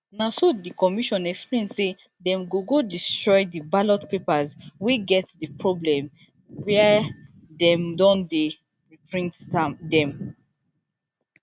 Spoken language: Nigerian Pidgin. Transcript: na so di commission explain say dem go go destroy di ballot papers wey get di problem wia dem don dey reprint dem